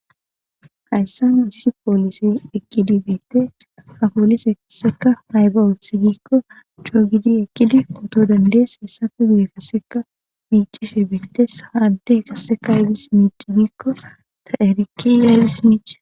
Hayssan issi poolise ekkidi beette apoolise kasseka mayba wooth giikko choogidi ekkidi puto dandees hessa fe gude kasseka miicishe bintes haadde kasseka ygis miic giikko ta7eriki yaygis miich